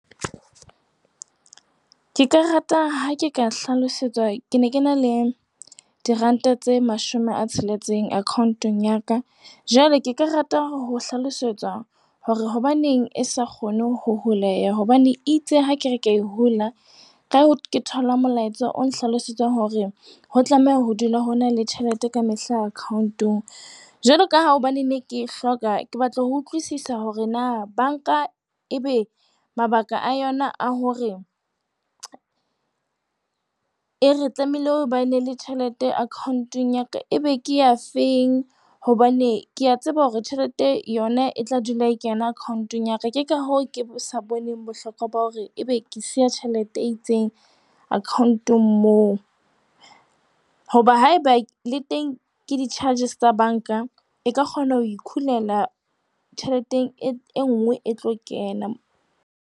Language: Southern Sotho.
Ke ka rata ha ke ka hlalosetswa. Ke ne ke na le diranta tse mashome a tsheletseng account-ong ya ka. Jwale ke ka rata ho hlalosetswa hore hobaneng e sa kgone ho huleya hobane itse ha ke re ke e hula. Ha ke thola molaetsa o nhlalosetsang hore ho tlameha ho dula ho na le tjhelete ka mehla account-ong, jwalo ka ha hobane ne ke hloka, ke batla ho utlwisisa hore na banka e be mabaka a yona a hore e re tlamehile ho ba ne le tjhelete account-eng ya ka e be ke ya feng hobane ke a tseba hore tjhelete yona e tla dula e kena account-ong ya ka. Ke ka hoo ke sa boneng bohlokwa ba hore ebe ke siya tjhelete e itseng account-ng moo. Hoba haeba le teng ke di-charges tsa banka, e ka kgona ho ikhulela tjheleteng e nngwe e tlo kena.